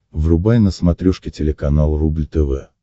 врубай на смотрешке телеканал рубль тв